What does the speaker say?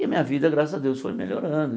E a minha vida, graças a Deus, foi melhorando.